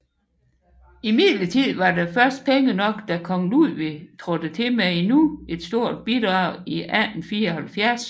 Imidlertid var der først penge nok da kong Ludwig trådte til med endnu et stort bidrag i 1874